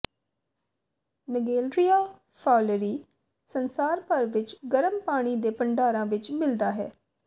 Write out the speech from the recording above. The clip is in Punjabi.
ਨਗੇਲਰੀਆ ਫਾਉਲੇਰੀ ਸੰਸਾਰ ਭਰ ਵਿਚ ਗਰਮ ਪਾਣੀ ਦੇ ਭੰਡਾਰਾਂ ਵਿਚ ਮਿਲਦਾ ਹੈ